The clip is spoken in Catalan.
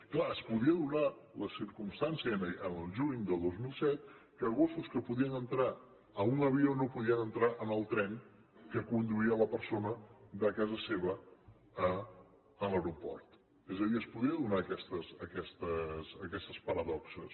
és clar es podia donar la circumstància el juny del dos mil set que gossos que podien entrar en un avió no podien entrar en el tren que conduïa la persona de casa seva a l’aeroport és a dir es podien donar aquestes paradoxes